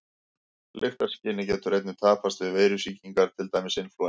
Lyktarskynið getur einnig tapast við veirusýkingar, til dæmis inflúensu.